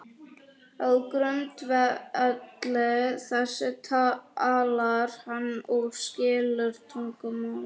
Á grundvelli þess talar hann og skilur tungumálið.